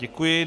Děkuji.